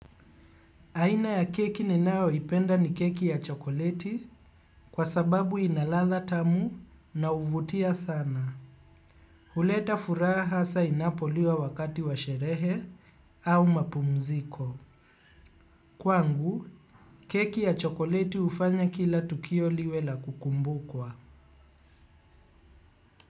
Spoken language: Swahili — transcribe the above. Aina ya keki ninayoipenda ni keki ya chokoleti kwa sababu inaladha tamu na huvutia sana. Huleta furaha saa inapoliwa wakati wa sherehe au mapumziko. Kwangu, keki ya chokoleti hufanya kila tukio liwe la kukumbukwa.